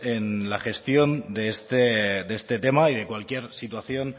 en la gestión de este tema y de cualquier situación